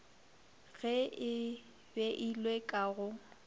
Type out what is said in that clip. ge e beilwe ka go